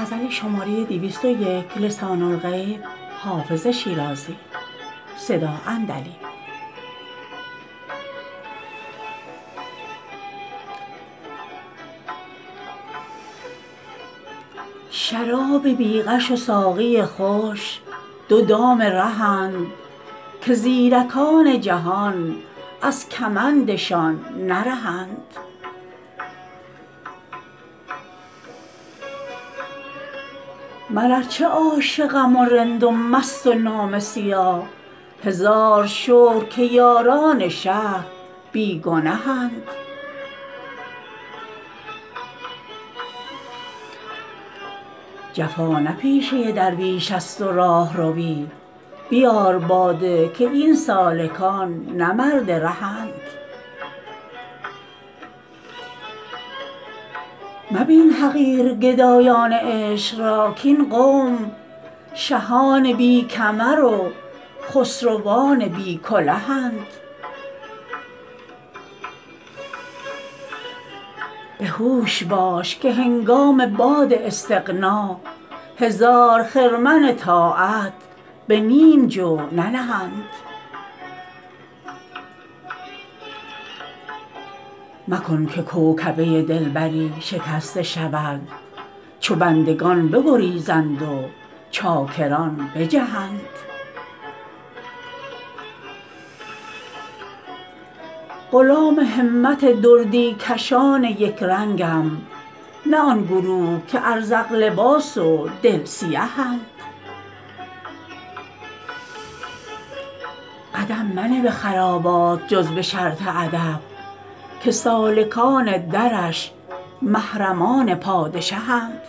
شراب بی غش و ساقی خوش دو دام رهند که زیرکان جهان از کمندشان نرهند من ار چه عاشقم و رند و مست و نامه سیاه هزار شکر که یاران شهر بی گنهند جفا نه پیشه درویشیست و راهروی بیار باده که این سالکان نه مرد رهند مبین حقیر گدایان عشق را کاین قوم شهان بی کمر و خسروان بی کلهند به هوش باش که هنگام باد استغنا هزار خرمن طاعت به نیم جو ننهند مکن که کوکبه دلبری شکسته شود چو بندگان بگریزند و چاکران بجهند غلام همت دردی کشان یک رنگم نه آن گروه که ازرق لباس و دل سیهند قدم منه به خرابات جز به شرط ادب که سالکان درش محرمان پادشهند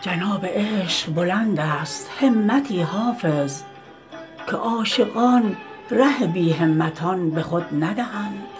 جناب عشق بلند است همتی حافظ که عاشقان ره بی همتان به خود ندهند